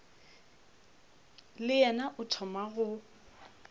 le yena o thoma go